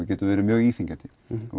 getur verið mjög íþyngjandi